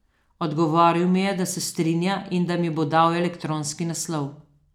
Odgovoril mi je, da se strinja in da mi bo dal elektronski naslov.